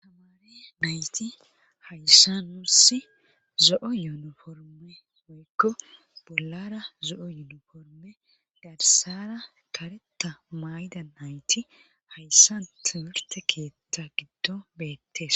Hamaari nayti hayssa nursi zo"o yuunuforme oykko bollara zo"o yuunuforme garsara kareta mayda nayti hayssant wirte keetta giddo beettes